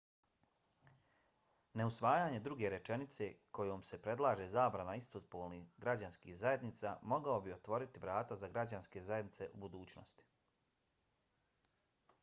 neusvajanje druge rečenice kojom se predlaže zabrana istopolnih građanskih zajednica mogao bi otvoriti vrata za građanske zajednice u budućnosti